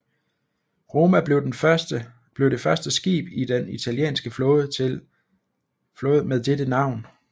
Roma blev det første skib i den italienske flåde med dette navn